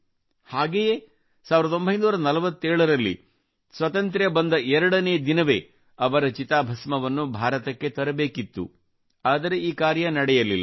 ಹಾಗೆಯೇ 1947 ರಲ್ಲಿ ಸ್ವಾತಂತ್ರ್ಯ ಬಂದ ಎರಡನೇ ದಿನವೇ ಅವರ ಚಿತಾಭಸ್ಮವನ್ನು ಭಾರತಕ್ಕೆ ತರಬೇಕಿತ್ತು ಆದರೆ ಈ ಕಾರ್ಯ ನಡೆಯಲಿಲ್ಲ